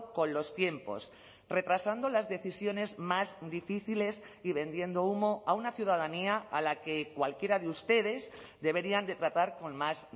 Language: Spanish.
con los tiempos retrasando las decisiones más difíciles y vendiendo humo a una ciudadanía a la que cualquiera de ustedes deberían de tratar con más